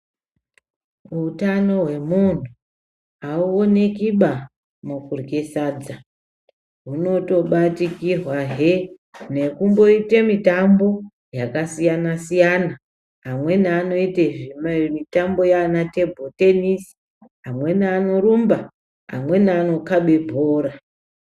Utano hwemunhu hauoneki ba nokurye sadza. Hunotobatikirwa he nekumboite mutambo yakasiyana siyana amweni anoite zvimwe mitambo yana tebho tenisi amweni anorumba amweni anokabe bhora.